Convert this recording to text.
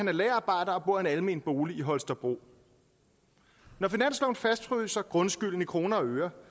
er lagerarbejder og bor i en almen bolig i holstebro når finansloven fastfryser grundskylden i kroner og øre